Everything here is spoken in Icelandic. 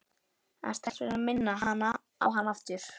En stelpurnar minna hana á hann aftur.